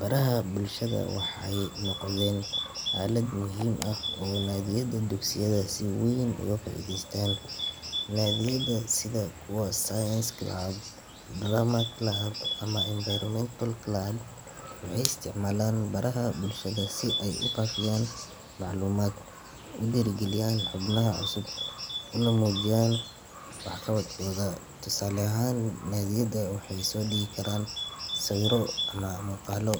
Baraha bulshada waxay noqdeen aalad muhiim ah oo ay nadiyada dugsiyada si weyn uga faa’iideystaan. Nadiyada sida kuwa science club, drama club, ama environmental club waxay isticmaalaan baraha bulshada si ay u faafiyaan macluumaad, u dhiirrigeliyaan xubnaha cusub, una muujiyaan waxqabadkooda. Tusaale ahaan, nadiyadu waxay soo dhigi karaan sawirro ama muuqaallo